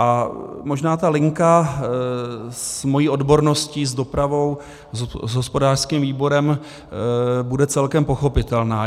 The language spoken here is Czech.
A možná ta linka s mou odborností, s dopravou, s hospodářským výborem bude celkem pochopitelná.